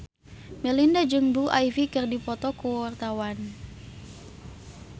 Melinda jeung Blue Ivy keur dipoto ku wartawan